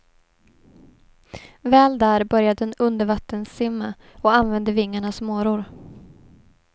Väl där börjar den undervattenssimma och använder vingarna som åror.